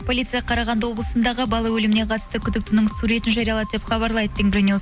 полиция қарағанды облысындағы бала өліміне қатысты күдіктінің суретін жариялады деп хабарлайды тенгри ньюс